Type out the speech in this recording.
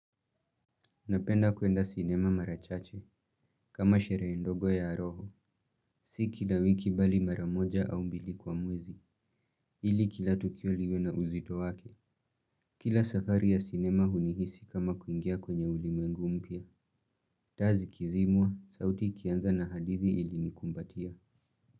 Napenda kuenda sinema marachache kama sherehe ndogo ya roho. Si kila wiki bali mara moja au mbili kwa mwezi ili kila tukio liwe na uzito wake. Kila safari ya sinema hunihisi kama kuingia kwenye ulimwengu mpya. Taa zikizimwa sauti ikianza na hadithi ilinikumbatia.